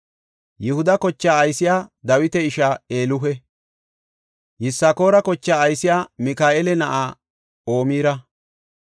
Yihuda kochaa aysey Dawita ishaa Elihu. Yisakoora kochaa aysey Mika7eela na7aa Omira.